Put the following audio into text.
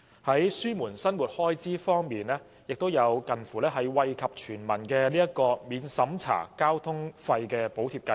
在減輕生活開支方面，政府建議推出近乎惠及全民的《免入息審查的公共交通費用補貼計劃》。